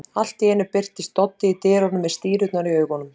Allt í einu birtist Doddi í dyrunum með stírurnar í augunum.